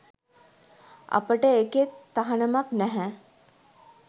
අපට ඒකෙ තහනමක් නැහැ